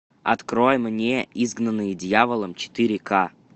открой мне изгнанные дьяволом четыре ка